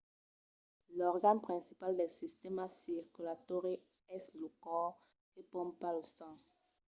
l'organ principal del sistèma circulatòri es lo còr que pompa lo sang